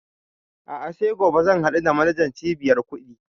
A'a sai gobe zan haɗu da manajan cibiyar kuɗi